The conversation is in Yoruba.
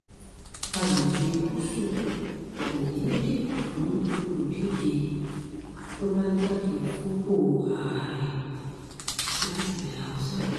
àgbègbè gúúsù kò ní í dìbò fún olùdíje tó bá jáde fúnpọ̀ ààrẹ látilẹ̀ haúsá